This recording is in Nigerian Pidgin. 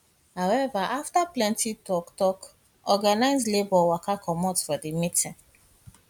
however afta plenty toktok organised labour waka comot di meeting